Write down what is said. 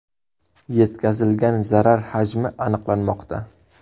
Yetkazilgan zarar hajmi aniqlanmoqda.